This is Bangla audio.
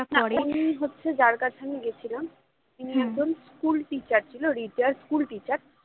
উনি হচ্ছে যার কাছে আমি গেছিলাম তিনি একজন school teacher ছিল retired school teacher